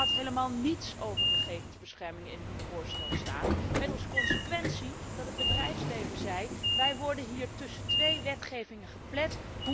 U had helemaal niets over gegevensbescherming in uw voorstel staan, met als consequentie dat het bedrijfsleven zei Wij worden hier tussen twee wetgevingen geplet.